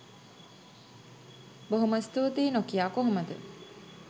බොහොම ස්තුතී නොකියා කොහොමද.?